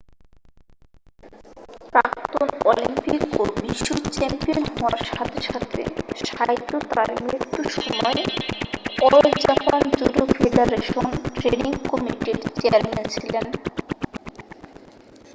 প্রাক্তন অলিম্পিক ও বিশ্ব চ্যাম্পিয়ন হওয়ার সাথে সাথে সাইতো তাঁর মৃত্যু সময় All Japan Judo Federation training কমিটি'র চেয়ারম্যান ছিলেন